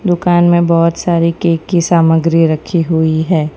दुकान में बहुत सारी केक की सामग्री रखी हुई है।